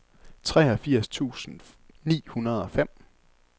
treogfirs tusind ni hundrede og fem